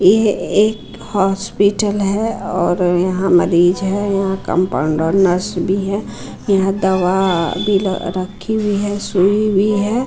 ये एक हॉस्पिटल है और यहाँ मरीज है यहाँ कंपाउंडर नर्स भी है यहाँ दवा भी रखी हुई है सुई भी है।